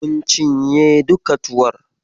Mun cinye duka tuwon.